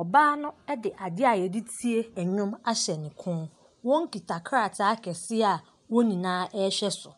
ɔbaa no ɛde adeɛ a yɛde tie ndwom ahyɛ ne kɔn wɔn kita krataa kɛseɛ a wɔn nyinaa ɛhwɛ so.